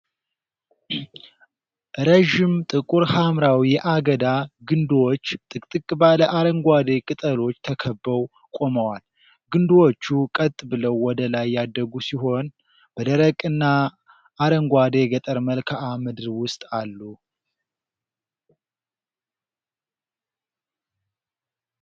ረዥም ጥቁር ሐምራዊ የአገዳ ግንድዎች ጥቅጥቅ ባለ አረንጓዴ ቅጠሎች ተከበው ቆመዋል። ግንድዎቹ ቀጥ ብለው ወደ ላይ ያደጉ ሲሆን፣ በደረቅና አረንጓዴ የገጠር መልክዓ ምድር ውስጥ አሉ።